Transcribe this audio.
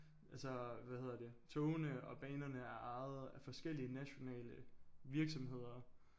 Altså hvad hedder det togene og banerne er ejet af forskellige nationale virksomheder